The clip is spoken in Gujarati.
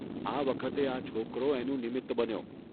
આ વખતે આ છોકરો એનું નિમિત્ત બન્યો.